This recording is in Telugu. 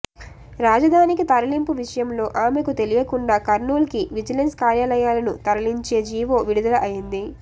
రాజధానికి తరలింపు విషయంలో ఆమెకు తెలియకుండా కర్నూలుకి విజిలెన్స్ కార్యాలయాలను తరలించే జీవో విడుదల అయింది